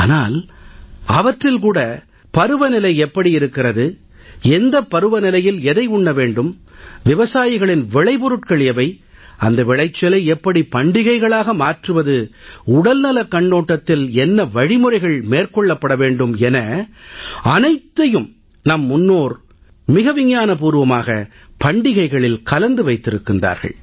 ஆனால் அவற்றில் கூட பருவநிலை எப்படி இருக்கிறது எந்த பருவநிலையில் எதை உண்ண வேண்டும் விவசாயிகளின் விளைபொருட்கள் எவை அந்த விளைச்சலை எப்படி பண்டிகைகளாக மாற்றுவது உடல்நலக் கண்ணோட்டத்தில் என்ன வழிமுறைகள் மேற்கொள்ளப்பட வேண்டும் என அனைத்தையும் நம் முன்னோர் அறிவியில் பூர்வமாக பண்டிகைகளில் கலந்து வைத்திருக்கின்றார்கள்